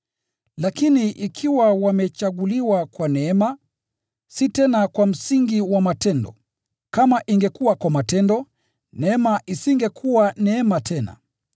Lakini ikiwa wamechaguliwa kwa neema, si tena kwa msingi wa matendo. Kama ingekuwa kwa matendo, neema isingekuwa neema tena.